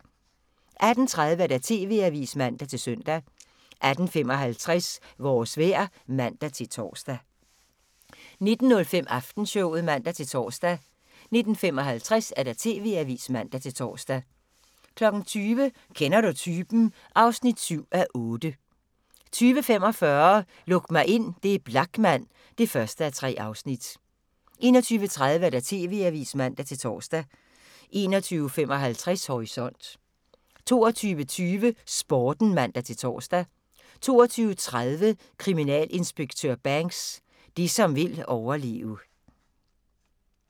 18:30: TV-avisen (man-søn) 18:55: Vores vejr (man-tor) 19:05: Aftenshowet (man-tor) 19:55: TV-avisen (man-tor) 20:00: Kender du typen? (7:8) 20:45: Luk mig ind – det er Blachman (1:3) 21:30: TV-avisen (man-tor) 21:55: Horisont 22:20: Sporten (man-tor) 22:30: Kriminalinspektør Banks: Det som vil overleve